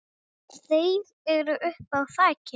Þeir eru uppi á þaki.